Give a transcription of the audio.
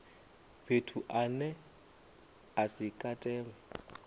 fhethu ane a si katelwe